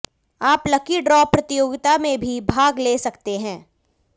आप lucky draw प्रतियोगिता में भी भाग ले सकते हैं